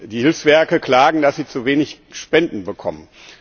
Die Hilfswerke klagen, dass sie zu wenig Spenden bekommen.